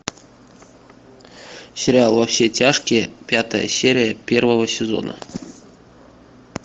сериал во все тяжкие пятая серия первого сезона